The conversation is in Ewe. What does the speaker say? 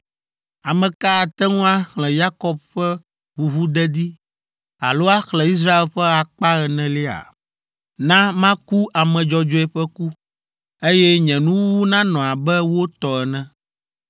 Ame ka ate ŋu axlẽ Yakob ƒe ʋuʋudedi, alo axlẽ Israel ƒe akpa enelia? Na maku ame dzɔdzɔe ƒe ku, eye nye nuwuwu nanɔ abe wo tɔ ene!”